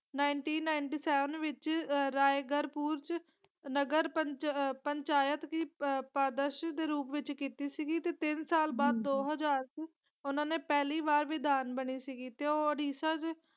Seventy nine ਦੇ ਵਿਚ ਆਹ ਰਾਇਗੜ੍ਹ ਨਗਰ ਪੰਚ ਆਹ ਪੰਚਾਇਤ ਦੀ ਦੇ ਰੂਪ ਵਿਚ ਕੀਤਾ ਸੀਗੀ ਤੇ ਤਿਨ ਸਾਲ ਬਾਅਦ ਦੋ ਹਜ਼ਾਰ ਚ ਓਹਨਾ ਨੇ ਪਹਿਲੀ ਵਾਰ ਵਿਧਾਨ ਬਣੀ ਸੀਗੀ ਤੇ ਉੜੀਸਾ।